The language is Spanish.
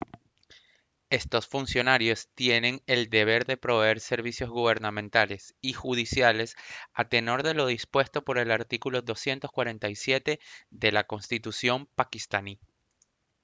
estos funcionarios tienen el deber de proveer servicios gubernamentales y judiciales a tenor de lo dispuesto por el artículo 247 de la constitución paquistaní